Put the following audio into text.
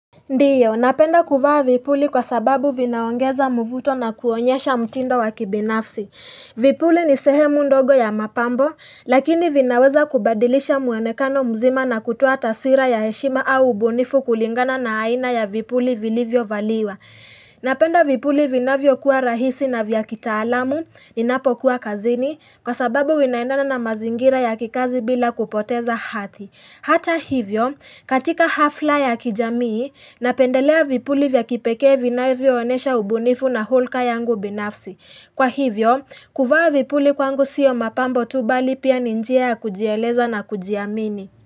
Ndiyo, napenda kuvaa vipuli kwa sababu vinaongeza mvuto na kuonyesha mtindo wakibinafsi. Vipuli ni sehemu ndogo ya mapambo, lakini vinaweza kubadilisha muonekano mzima na kutuoa taswira ya heshima au ubunifu kulingana na aina ya vipuli vilivyo valiwa. Napenda vipuli vinavyo kuwa rahisi na vya kitaalamu, ninapokuwa kazini, kwa sababu vinaendana na mazingira ya kikazi bila kupoteza hadhi. Hata hivyo, katika hafla ya kijamii, napendelea vipuli vya kipekee vinavyo onesha ubunifu na hulka yangu binafsi. Kwa hivyo, kuvaa vipuli kwangu siyo mapambo tu bali pia ni njia ya kujieleza na kujiamini.